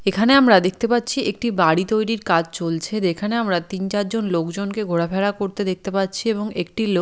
এখানে আমরা দেখতে পাচ্ছি একটি বাড়ি তৈরির কাজ চলছে যেখানে আমরা তিন চার জন লোকজনকে ঘোরাফেরা করতে দেখতে পাচ্ছি এবং একটি লোক--